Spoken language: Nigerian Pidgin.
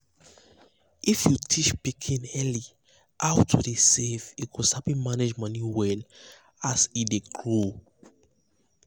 if you teach pikin early how to dey save e go sabi manage money well as e dey grow.